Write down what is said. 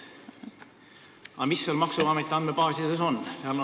Aga mis maksuameti andmebaasides on?